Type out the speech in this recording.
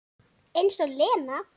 Eins og Lena!